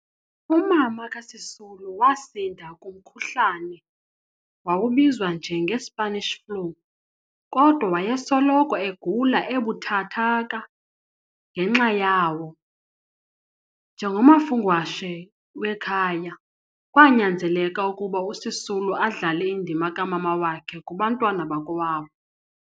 Umama kaSisulu wasinda kumkhuhlane wawubizwa njenge-Spanish Flu, kodwa wayesoloko egula ebuthathaka ngenxa yawo. Njengomafungwashe wekhaya, kwanyanzeleka ukuba uSisulu adlale indima kamama wakhe kubantwana bakokwabo.